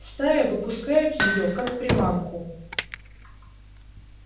стая попускает её как приманку